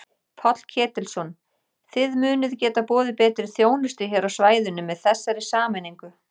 Páll Ketilsson: Þið munið geta boðið betri þjónustu hér á svæðinu með þessari sameiningu?